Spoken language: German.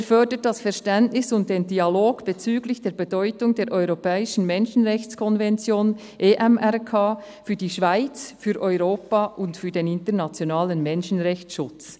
Er] fördert das Verständnis und den Dialog bezüglich der Bedeutung der europäischen Menschenrechtskonvention (EMRK) für die Schweiz, für Europa und für den internationalen Menschenrechtsschutz.